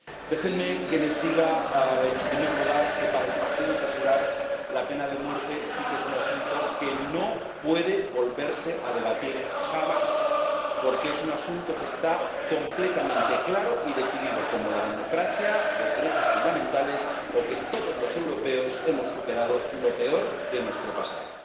Déjenme que les diga, en primer lugar, que para el Partido Popular la pena de muerte sí que es un asunto que no puede volverse a debatir jamás, porque es un asunto que está completamente claro y decidido, como la democracia, los derechos fundamentales o que todos los europeos hemos superado lo peor de nuestro pasado.